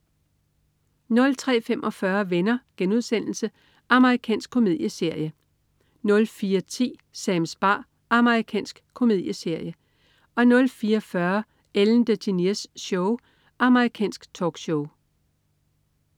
03.45 Venner.* Amerikansk komedieserie 04.10 Sams bar. Amerikansk komedieserie 04.40 Ellen DeGeneres Show. Amerikansk talkshow